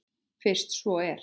Fyrst svo er.